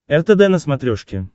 ртд на смотрешке